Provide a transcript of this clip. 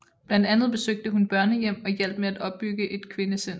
Blandt andet besøgte hun børnehjem og hjalp med at opbygge en kvindecenter